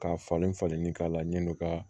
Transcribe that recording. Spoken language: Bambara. Ka falen falenni k'a la yan'o ka